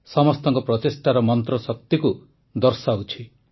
ସମସ୍ତଙ୍କ ପ୍ରଚେଷ୍ଟାର ମନ୍ତ୍ରଶକ୍ତିକୁ ଦର୍ଶାଉଛି